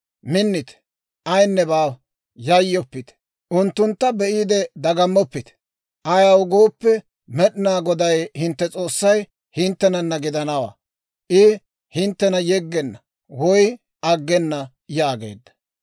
Minnite; ayinne baawa; yayyoppite. Unttuntta be'iide dagammoppite. Ayaw gooppe, Med'inaa Goday hintte S'oossay hinttenanna gidanawaa. I hinttena yeggenna woy aggena» yaageedda.